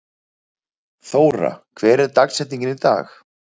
Þóra, hver er dagsetningin í dag?